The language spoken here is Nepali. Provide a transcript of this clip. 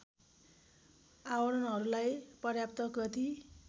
आवरणहरूलाई पर्याप्त गति